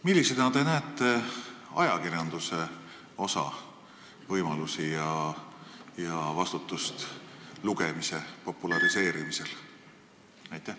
Millisena te näete ajakirjanduse osa, võimalusi ja vastutust lugemise populariseerimisel?